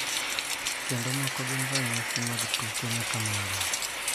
Kendo moko gin ranyisi mag tuke ma kamago.